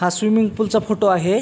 हा swimming pool चा photo आहे.